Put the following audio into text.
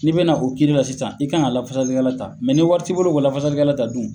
Ni' be na o kiiri la sisan i kan ka lafasalikɛla ta, ni wari t'i bolo ko lafasalikɛla ta dun?